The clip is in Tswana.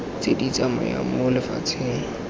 tse di tsamayang mo lefatsheng